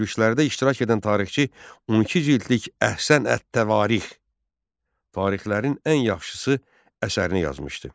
Gürüşlərdə iştirak edən tarixçi 12 cildlik Əhsən ət-Təvarix, tarixlərin ən yaxşısı əsərini yazmışdı.